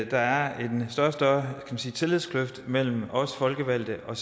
der er en større og større tillidskløft mellem os folkevalgte og